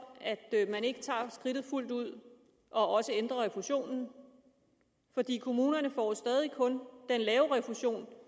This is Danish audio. man ikke tager skridtet fuldt ud og også ændrer refusionen kommunerne får jo stadig kun den lave refusion